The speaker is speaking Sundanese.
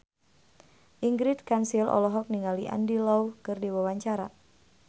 Ingrid Kansil olohok ningali Andy Lau keur diwawancara